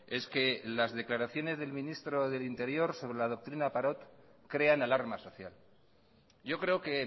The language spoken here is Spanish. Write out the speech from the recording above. es que las declaraciones del ministro del interior sobre la doctrina parot crean alarma social yo creo que